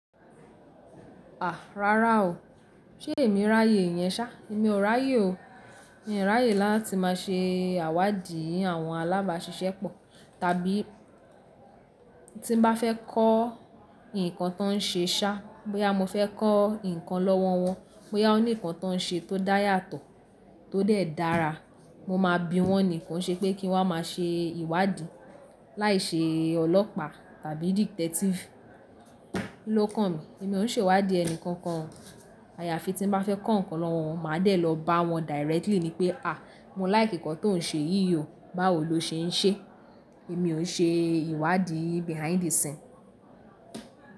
À ráárá o, ṣé èmi ráyè ìyẹn ṣá? Èmi ò ráyè o. Èmi ò ráyè láti má ṣe àwádìí àwọn alábáṣiṣẹ́ pọ̀, tàbí tí n bá fẹ́ kọ́ nǹkan tó n ṣe ṣá, bóyá mo fẹ́ kọ́ nǹkan lọ́wọ́ wọn, bóyá wọ́n ní nǹkan tó n ṣe tó dá yàtọ̀, tó dẹ̀ dára, mo máa bi wọ́n nìkan ṣe pé kí wọn má ṣe ìwádìí láìṣe ọlọ́pàá tàbí detective ló kàn mí. Èmi òún ṣe ìwádìí ẹnìkankan. Àyàfi tí n bá fẹ́ kọ́ nǹkan lọ́wọ́ wọn, máa dẹ̀ lọ bá wọn directly ni pé, à mo like nǹkan tó n ṣe yí o, báwo lo ṣe n ṣe? Èmi ò ṣe ìwádìí behind the scene.